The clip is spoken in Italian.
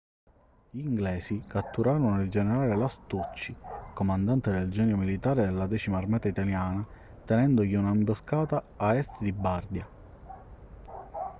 gli inglesi catturarono il generale lastucci comandante del genio militare della 10ª armata italiana tendendogli un'imboscata a est di bardia